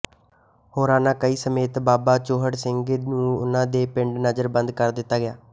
ਹੋਰਨਾਂ ਕਈਆਂ ਸਮੇਤ ਬਾਬਾ ਚੂਹੜ ਸਿੰਘ ਨੂੰ ਉਨ੍ਹਾਂ ਦੇ ਪਿੰਡ ਨਜ਼ਰਬੰਦ ਕਰ ਦਿੱਤਾ ਗਿਆ